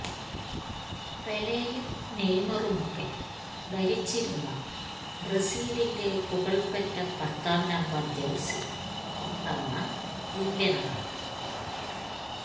പെലെയും നെയ്മാറുമൊക്കെ ധരിച്ചിരുന്ന ബ്രസീലിന്റെ പുകള്പെറ്റ പത്താം നമ്പര് ജഴ്സി ഇത്തവണ വില്യനാണ്